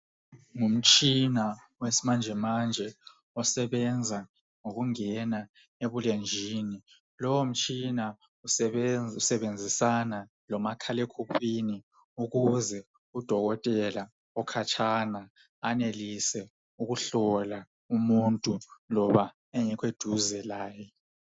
Ngumtshina wesimanje manje osebenza ngokungena ebulenjini .Lowomtshina usebenzisana lomakhale khukhwini ukuze udokotela okhatshana anelise ukuhlola umuntu loba engekho eduze laye .